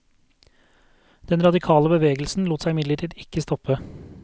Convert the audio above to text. Den radikale bevegelsen lot seg imidlertid ikke stoppe.